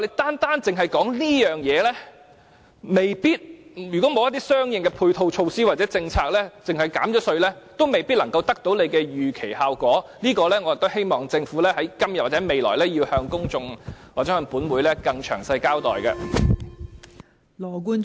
單單只說這方面，如果沒有一些相應的配套措套或政策而只憑減稅，未必能夠得到當局預期的效果，我希望政府今天或未來，要向公眾或本會更詳細的交代這方面。